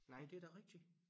Nej det da rigtigt